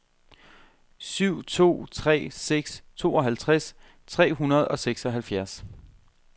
syv to tre seks tooghalvtreds tre hundrede og seksoghalvfjerds